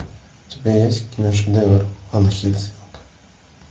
у тебя есть киношедевр ван хельсинг